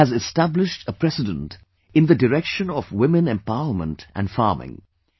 She has established a precedent in the direction of women empowerment and farming